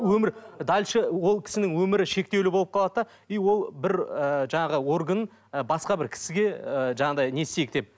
өмір дальше ол кісінің өмірі шектеулі болып қалады да и ол бір ыыы жаңағы орган і басқа бір кісіге ы жаңағындай не істейік деп